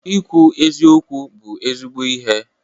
Ikwu eziokwu bụ ezigbo ihe.